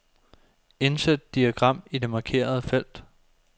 Indsæt diagram i det markerede felt.